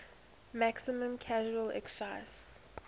maximum casual excise